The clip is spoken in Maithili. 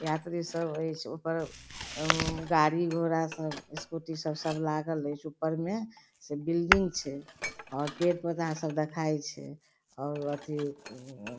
यात्री सब ऐच्छ ओय पर उम्म गाड़ी घोड़ा सब स्कूटी सब लागल ऐच्छ ऊपर में से बिल्डिंग छै और पेड़-पौधा सब देखाय छै और अथी उम्म --